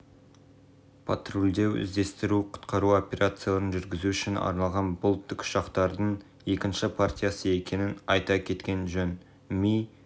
патрульдеу іздестіру-құтқару операцияларын жүргізу үшін арналған бұл тікұшақтардың екінші партиясы екенін айта кеткен жөн ми